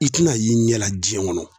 I ti na ye i ɲɛ la diɲɛ kɔnɔ